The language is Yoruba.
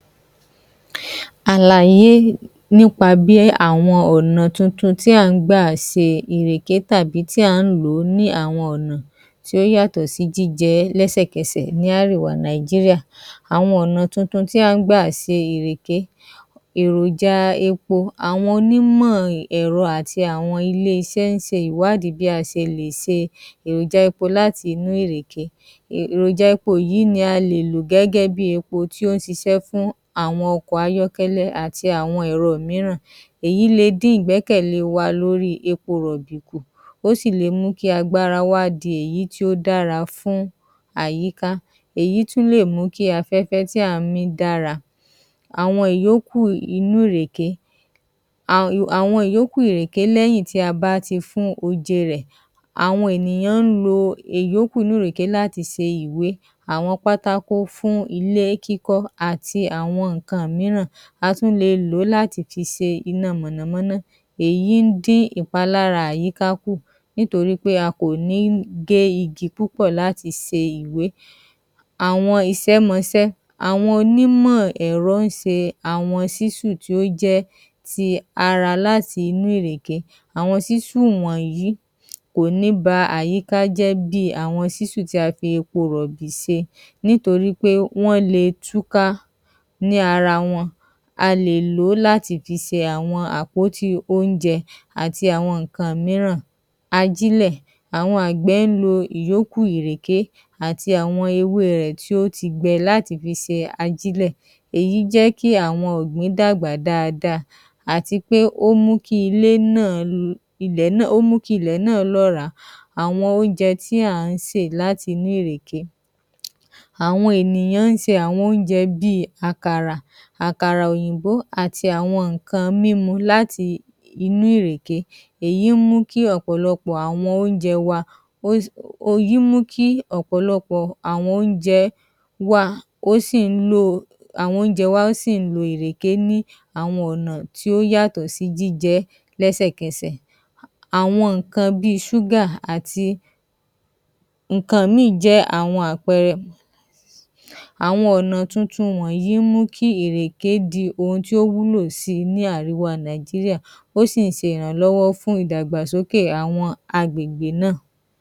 Àlàye nípa bí àwọn ọ̀nà tuntun tí à ń gbà se ìrèké tàbí tí à ń lò ó ní àwọn ọ̀nà tí ó yàtò sí jíjẹ lẹ́sẹ̀kẹsẹ̀ ní árèwá Nàìjíríà. Àwọn ọ̀nà tuntun tí à ń gbà se ìrèké, èròjà epo, àwọn onímọ̀ ẹ̀ro àti àwọn ilé isé ń se ìwádìí bí a se lè se èròjà epo láti inú ìrèké. um èròja epo yìí ní a lè lò gẹ́gẹ́ bí epo tí ó ń sisẹ́ fún àwọn ọkò ayọ́kẹ́lẹ́ àti àwọn ẹ̀ro ìmíràn. Èyí le dín ìgbẹ́kẹ̀lẹ́ wa lórí epo ròbì kù, ó sì le mú kí agbára wa di èyí tí ó dára fún àyíká. Èyí tún lè mú kí afẹ́fẹ́ tí à ń mí dára. Àwọn ìyókù inú ìrèké, àwọn ìyókù ìrèké lẹ́yìn tí a bá ti fún oje rẹ̀. Àwọn ènìyàn ń lo ìyókù inú ìrèké láti se ìrèké se ìwé, àwọn pátákó fún ilé kíkọ́ àti àwọn ńǹkan ìmíràn. A tún lè lo láti fi se iná mọ̀nàmọ́ná. Èyí ń dí ìpalára àyíká kù, nítorípé a kò ní gé igi púpò láti se ìwé. Àwọn isẹ́mosẹ́, àwọn onímò èro ń se àwọn sísù tí ó jé ti ara láti inú ìrèke, àwọn sísù wọ̀nyìí kò ní ba àyíká jẹ́ bí àwọn sísù tí a fi epo rọ̀bì se nítorípé wọ́n le túká ní ara wọn. A lè ló láti fi se àwọn àpóti oúnjẹ àti àwọn ǹńkan ìmírán. Ajílè, àwọn àgbè ń lo ìyókù ìréké àti awọn ewé rẹ̀ tí ó ti gbẹ láti fi se ajílẹ̀. Èyí jẹ́ kí àwọn ọ̀gbìn dàgbà dáadáa, àtipé ó mú kí ilé náà, ilẹ̀ náà, ó mú kí ilẹ̀ náà lọ́ràá. Àwọn óunjẹ tí à ń sè láti inú ìrèké. Àwọn ènìyàn ń se àwọn ouńjẹ bíi àkàrà, àkàrà òyìnbó, àti àwọn ńǹkan mímu láti inú ìrèké. Èyí ń mú kí ọ̀pọ̀lọpọ̀ àwọn oúnjẹ wa, ó si, èyí ń mú kí ọ̀pọ̀lọpọ̀ àwọn oúnjẹ wà, ó sì ń lo ọ, àwọn oúnjẹ wa sì ń lo írèké ni àwọn ọ̀nà tí ó yatọ sì jíjẹ lẹ́sẹ̀kẹsẹ̀. Àwọn ńǹkan bíi àti ńǹkan ìmíì jẹ́ àwọn àpẹẹrẹ. Àwọn ọ̀nà tuntun wọnyí ń mú kí èrèké di ohun tí ó wúlò síi ní árèwá Nàìjíríà. Ó sì ń se ìrànlọ́wọ́ fún ìdàgbàsókè àwọn agbègbè náà.